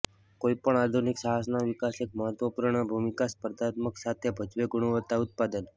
કોઈપણ આધુનિક સાહસના વિકાસ એક મહત્વપૂર્ણ ભૂમિકા સ્પર્ધાત્મકતા સાથે ભજવે ગુણવત્તા ઉત્પાદન